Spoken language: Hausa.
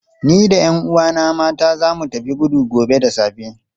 Ni da 'yan uwana mata za mu tafi gudu gobe da safe.